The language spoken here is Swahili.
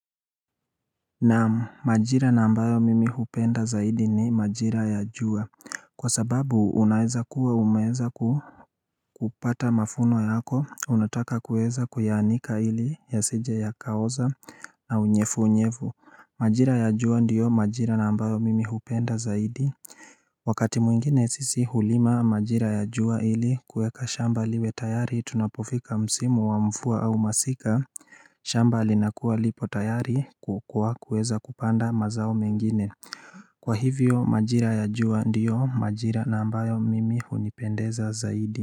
Naam majira na ambayo mimi hupenda zaidi ni majira ya jua Kwa sababu unaeza kuwa umeeza kupata mavuno yako unataka kueza kuyaanika ili yasije yakaoza na unyevu unyevu Majira ya jua ndiyo majira na ambayo mimi hupenda zaidi Wakati mwingine sisi hulima majira ya jua ili kueka shamba liwe tayari tunapofika msimu wa mvua au masika shamba linakua lipo tayari kukua kuweza kupanda mazao mengine Kwa hivyo majira ya jua ndiyo majira na ambayo mimi hunipendeza zaidi.